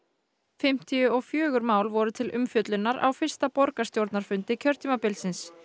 fimmtíu og fjögur mál voru til umfjöllunar á fyrsta borgarstjórnarfundi kjörtímabilsins